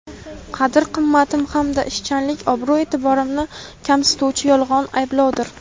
qadr-qimmatim hamda ishchanlik obro‘-e’tiborimni kamsituvchi yolg‘on ayblovlardir.